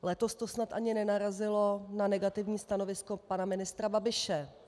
Letos to snad ani nenarazilo na negativní stanovisko pana ministra Babiše.